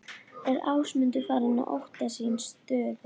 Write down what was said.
Er Ásmundur farinn að óttast sína stöðu?